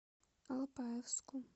алапаевску